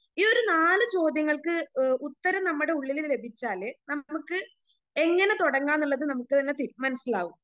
ഈ ഒരു നാല് ചോദ്യങ്ങൾക്ക് ഏഹ് ഉത്തരം നമ്മടെ ഉള്ളില് ലഭിച്ചാല് നമ്മക്ക് എങ്ങനെ തുടങ്ങാന്നുള്ളത് നമുക്ക് തന്നെ തീ മനസ്സിലാകും.